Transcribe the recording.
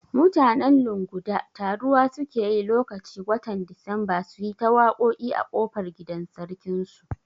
Mutanen Lunguda taruwa suke yi lokaci watan Disamba suyi ta waƙoƙi a kofar gidan sarkin su